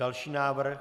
Další návrh.